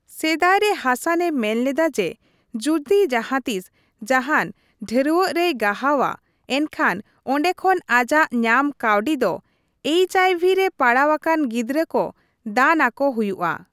ᱥᱮᱫᱟᱭ ᱨᱮ ᱦᱟᱥᱟᱱᱮ ᱢᱮᱱᱞᱮᱫᱟ ᱡᱮ ᱡᱩᱫᱤ ᱡᱟᱦᱟᱸ ᱛᱤᱥ ᱡᱟᱦᱟᱱ ᱰᱷᱟᱹᱨᱣᱟᱹᱜ ᱨᱮᱭ ᱜᱟᱦᱟᱣᱟ, ᱮᱱᱠᱷᱟᱱ ᱚᱸᱰᱮ ᱠᱷᱚᱱ ᱟᱡᱟᱜ ᱧᱟᱢ ᱠᱟᱹᱣᱰᱤ ᱫᱚ ᱮᱭᱤᱪᱹᱟᱭᱹᱵᱷᱤᱹ ᱨᱮ ᱯᱟᱲᱟᱣ ᱟᱠᱟᱱ ᱜᱤᱫᱽᱨᱟᱹ ᱠᱚ ᱫᱟᱱ ᱟᱠᱚ ᱦᱩᱭᱩᱜᱼᱟ ᱾